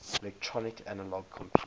electronic analog computers